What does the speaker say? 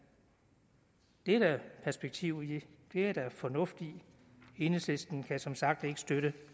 det er der perspektiv i det er der fornuft i enhedslisten kan som sagt ikke støtte